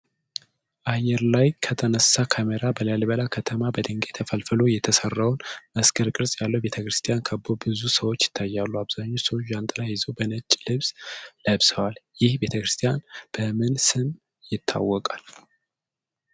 አየር ላይ ከተነሳ ካሜራ በላሊበላ ከተማ በድንጋይ ተፈልፍሎ የተሰራውን መስቀል ቅርጽ ያለውን ቤተክርስቲያን ከበው ብዙ ሰዎች ይታያሉ። አብዛኛዎቹ ሰዎች ጃንጥላ ይዘው የነጭ ልብስ ለብሰዋል ። ይህ ቤተክርስቲያን በምን ስም ይታወቃል?